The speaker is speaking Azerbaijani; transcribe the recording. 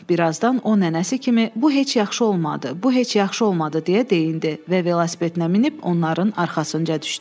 Birazdan o nənəsi kimi: "Bu heç yaxşı olmadı. Bu heç yaxşı olmadı", deyə deyinirdi və velosipedinə minib onların arxasınca düşdü.